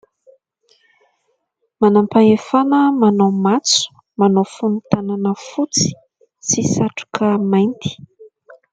Manam-pahefana manao matso, manao fonon-tanana fotsy sy satroka mainty.